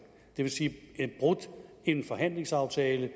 det vil sige at en forhandlingsaftale